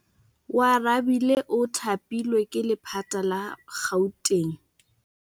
Oarabile o thapilwe ke lephata la Gauteng.